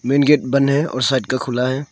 Main gate बंध है और साइड का खुला है।